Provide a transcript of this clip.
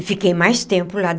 E fiquei mais tempo lá.